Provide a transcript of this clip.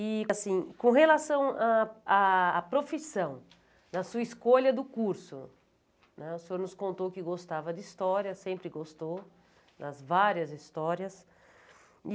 E, assim, com relação a a à profissão, na sua escolha do curso, né, o senhor nos contou que gostava de História, sempre gostou, das várias histórias. E